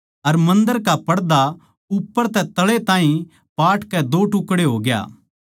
अर मन्दर का पड़दा उप्पर तै तळै ताहीं पाटकै दो टुकड़े होग्या